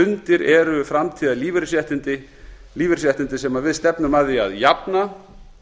undir eru framtíðarlífeyrisréttindi sem við stefnum að því að jafna